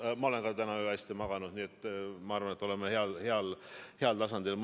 Ka mina olen täna öösel hästi maganud, nii et ma arvan, et oleme mõlemad heal tasandil.